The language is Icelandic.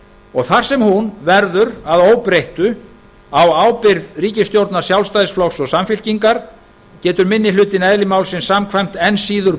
og þar sem hún verður að óbreyttu á ábyrgð ríkisstjórnar sjálfstæðisflokks og samfylkingar getur minni hlutinn eðli málsins samkvæmt enn síður